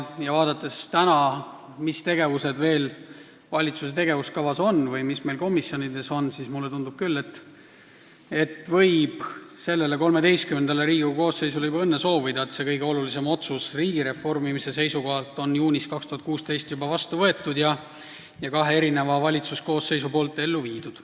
Vaadates, mis tegevused veel valitsuse tegevuskavas on või mis meil komisjonides kavas on, siis mulle tundub küll, et võib sellele, XIII Riigikogu koosseisule juba õnne soovida, et see kõige olulisem otsus riigi reformimise seisukohalt on juba juunis 2016 vastu võetud ja kaks valitsuskoosseisu on selle ellu viinud.